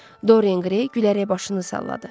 Doryan Qrey gülərək başını salladı.